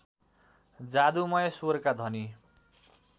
जादुमय स्वरका धनी